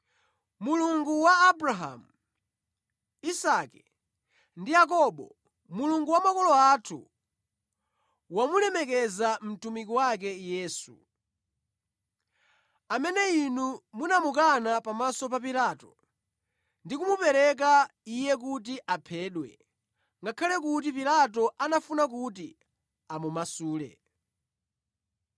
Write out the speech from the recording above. Mulungu wa Abrahamu, Isake ndi Yakobo, Mulungu wa makolo athu, wamulemekeza mtumiki wake Yesu. Amene inu munamukana pamaso pa Pilato ndi kumupereka Iye kuti aphedwe, ngakhale kuti Pilato anafuna kuti amumasule.